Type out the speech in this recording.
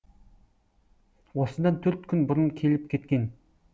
осыдан төрт күн бұрын келіп кеткен